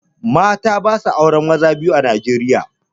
Mata basa auren maza biyu a Nijeriya